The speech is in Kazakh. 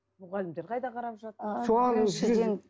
мұғалімдер қайда қарап